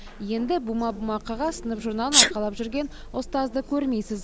енді бума бума қағаз сынып журналын арқалап жүрген ұстазды көрмейсіз